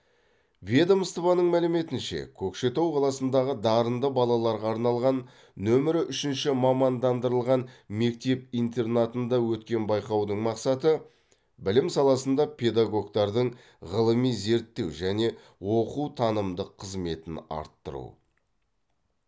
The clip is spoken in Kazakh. ведомствоның мәліметінше көкшетау қаласындағы дарынды балаларға арналған нөмірі үшінші мамандандырылған мектеп интернатында өткен байқаудың мақсаты білім саласында педагогтардың ғылыми зерттеу және оқу танымдық қызметін арттыру